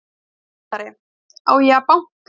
HÓTELHALDARI: Á ég að banka?